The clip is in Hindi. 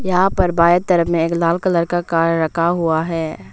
यहां पर बाएं तरफ में एक लाल कलर का कार रखा हुआ है।